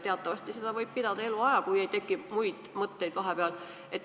Teatavasti võib seda ametit pidada eluaja, kui vahepeal ei teki muid mõtteid.